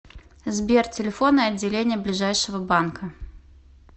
сбер телефоны отделения ближайшего банка